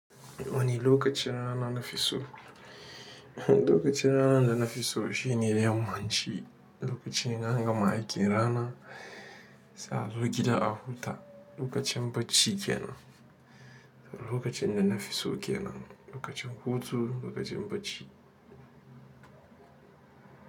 Wani lokaci rana na fi so. Lokacin rana da na fi so shine yammaci lokacin anga ma aƙin rana, sai a zo gida a huta, lokacin bacci kenan. Lokacin da na fi so kenan, lokacin hutu, lokacin bacci.